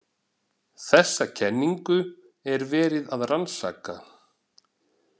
Þessa kenningu er verið að rannsaka.